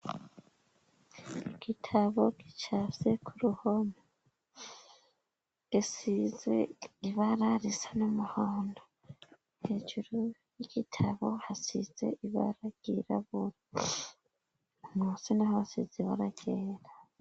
igitabo gicafye ku ruhono gisize ibara risa n'umuhondo hejuru y'igitabo hasize ibara ryirabura munsi naho hasize ibara ryera